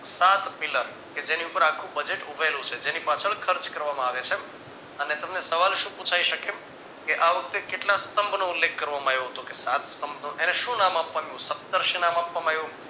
સાત પિલર કે જેની ઉપર આખું Budget ઉભેલું છે જેની પાછળ ખર્ચ કરવામાં આવે છે. અને તમને સવાલ શું પુછાય શકે કે આ વખતે કેટલા સ્તંભનો ઉલ્લેખ કરવામાં આવ્યોતો કે સાત સ્તંભનો એને શું નામ આપવામાં સેંટર્સ નામ આપવામાં આવ્યું તું